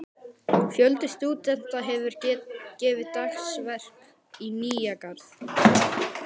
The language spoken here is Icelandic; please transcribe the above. Fjöldi stúdenta hefur gefið dagsverk í Nýja-Garð.